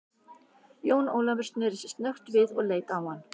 Jón Ólafur sneri sér snöggt við og leit á hann.